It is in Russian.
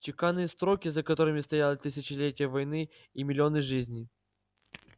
чеканные строки за которыми стояли тысячелетия войны и миллионы жизней